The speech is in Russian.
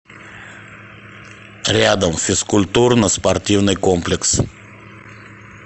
рядом физкультурно спортивный комплекс